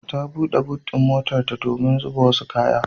Ta buɗe but ɗin motarta domin zuba wasu kaya.